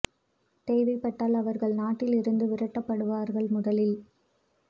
தேவைப்பட்டால் அவர்கள் நாட்டில் இருந்து விரட்டப்படுவார்கள் முதலில்